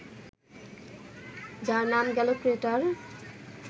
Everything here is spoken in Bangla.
যার নাম গেল ক্রেটার